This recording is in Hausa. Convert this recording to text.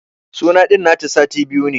Suna din nan da sati biyu ne.